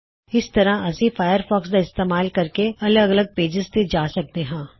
ਇਸ ਤਰ੍ਹਾਂ ਅਸੀ ਫਾਇਰਫੌਕਸ ਦਾ ਇਸਤੇਮਾਲ ਕਰਕੇ ਅਲੱਗ ਅਲੱਗ ਪੇਜਿਜ਼ ਤੇ ਜਾ ਸਕਦੇ ਹੋਂ